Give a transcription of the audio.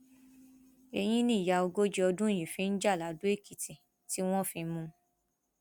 ẹyìn nìyá ogójì ọdún yìí fi ń já ladoèkìtì tí wọn fi mú un